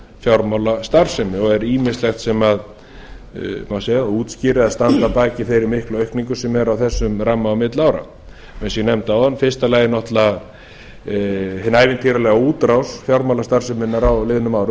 fjármálastarfsemi og er ýmislegt sem má segja útskýra eða standa að baki þeirri miklu aukningu sem er á þessum ramma á milli ára eins og ég nefndi áðan í fyrsta lagi náttúrlega hin ævintýralega útrás fjármálastarfseminnar á liðnum árum